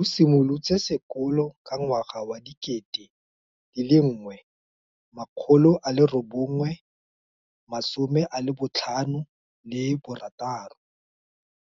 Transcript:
O simolotse sekolo ka 1956